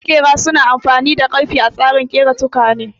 Maƙera su na amfani da ƙarfe a tsarin ƙera tukwane